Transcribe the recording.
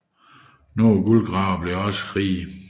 Nogle guldgravere blev imidlertid også rige